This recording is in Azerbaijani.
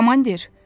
Komandir.